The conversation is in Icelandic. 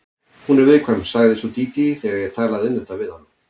Hún er viðkvæm, sagði svo Dídí þegar ég talaði um þetta við hana.